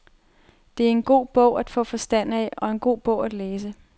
Det er en god bog at få forstand af og en god bog at læse.